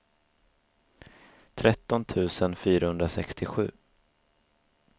tretton tusen fyrahundrasextiosju